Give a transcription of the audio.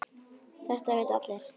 Þetta vita allir.